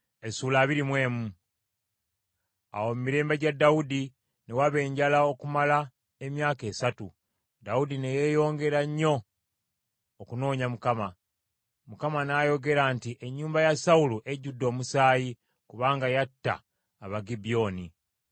Awo mu mirembe gya Dawudi ne waba enjala okumala emyaka esatu, Dawudi ne yeeyongera nnyo okunoonya Mukama . Mukama n’ayogera nti, “Ennyumba ya Sawulo ejjudde omusaayi, kubanga yatta Abagibyoni.”